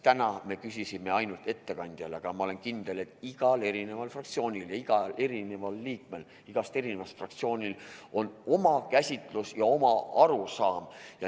Täna me küsisime ainult ettekandjalt, aga ma olen kindel, et igal fraktsioonil ja igal liikmel igast fraktsioonist on oma käsitlus ja oma arusaam.